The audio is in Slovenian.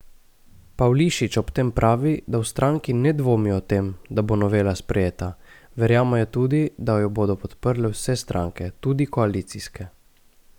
Pavlišič ob tem pravi, da v stranki ne dvomijo o tem, da bo novela sprejeta, verjamejo tudi, da jo bodo podprle vse stranke, tudi koalicijske.